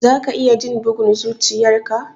Za ka iya jin bugun zuchiyar ka?